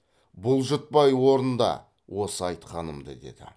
бұлжытпай орында осы айтқанымды деді